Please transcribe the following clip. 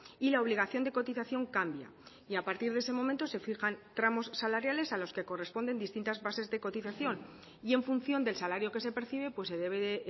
y la obligación de cotización cambia y a partir de ese momento se fijan tramos salariales a los que corresponden distintas bases de cotización y en función del salario que se percibe se debe de